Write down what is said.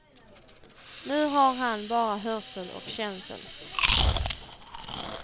Nu har han bara hörsel och känsel.